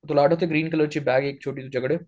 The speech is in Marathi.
तुला आठवतय ग्रीन कलरची बॅग आहे एक छोटी तुझ्याकडे